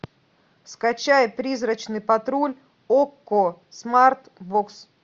скачай призрачный патруль окко смарт бокс